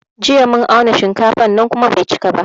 Jiya mun auna shinkafan nan kuma bai cika ba